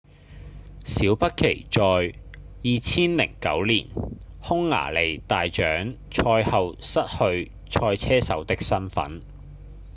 小畢奇在2009年匈牙利大獎賽後失去賽車手的身分